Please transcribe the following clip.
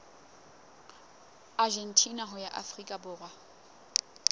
argentina ho ya afrika borwa